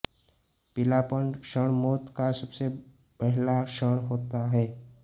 पीलापन क्षण मौत का सबसे पहला क्षण होता है